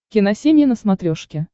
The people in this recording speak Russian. киносемья на смотрешке